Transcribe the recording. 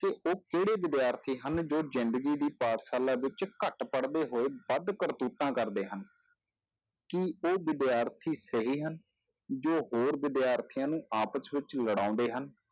ਕਿ ਉਹ ਕਿਹੜੇ ਵਿਦਿਆਰਥੀ ਹਨ ਜੋ ਜ਼ਿੰਦਗੀ ਦੀ ਪਾਠਸ਼ਾਲਾ ਵਿੱਚ ਘੱਟ ਪੜ੍ਹਦੇ ਹੋਏ ਵੱਧ ਕਰਤੂਤਾਂ ਕਰਦੇ ਹਨ ਕੀ ਉਹ ਵਿਦਿਆਰਥੀ ਸਹੀ ਹਨ, ਜੋ ਹੋਰ ਵਿਦਿਆਰਥੀਆਂ ਨੂੰ ਆਪਸ ਵਿੱਚ ਲੜਾਉਂਦੇ ਹਨ